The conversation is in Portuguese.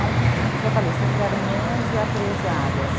Por isso que eu falei, sempre eram onze a treze áreas.